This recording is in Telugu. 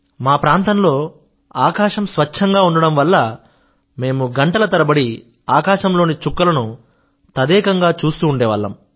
మా ప్రాంతం లో ఆకాశం స్వచ్ఛం గా ఉండడం వల్ల మేము గంటల తరబడి ఆకాశం లోని చుక్కల ను తదేకంగా చూస్తుండేవాళ్ళము